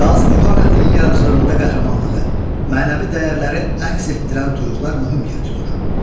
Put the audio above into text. Qazi Bürhanəddinin yaradıcılığında qəhrəmanlığı, mənəvi dəyərləri əks etdirən tuyuqlar mühüm yer tutur.